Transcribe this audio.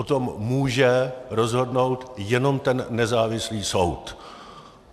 O tom může rozhodnout jenom ten nezávislý soud.